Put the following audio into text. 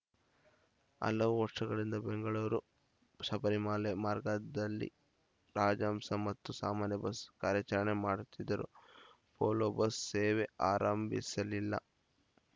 ಹಲವು ವರ್ಷಗಳಿಂದ ಬೆಂಗಳೂರು ಶಬರಿಮಾಲೆ ಮಾರ್ಗದಲ್ಲಿ ರಾಜಹಂಸ ಮತ್ತು ಸಾಮಾನ್ಯ ಬಸ್‌ ಕಾರ್ಯಾಚರಣೆ ಮಾಡುತ್ತಿದ್ದರೂ ವೋಲ್ವೋ ಬಸ್‌ ಸೇವೆ ಆರಂಭಿಸಿಲಿಲ್ಲ